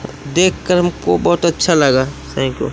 देख कर हमको बहुत अच्छा लगा थैंक यू ।